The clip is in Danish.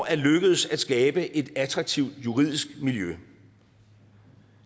er lykkedes at skabe et attraktivt juridisk miljø